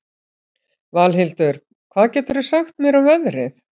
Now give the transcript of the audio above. Valhildur, hvað geturðu sagt mér um veðrið?